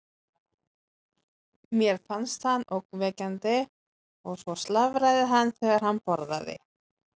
Mér fannst hann ógnvekjandi og svo slafraði hann þegar hann borðaði.